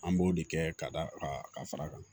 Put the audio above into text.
An b'o de kɛ ka da a ka fara a kan